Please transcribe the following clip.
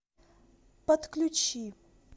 подключи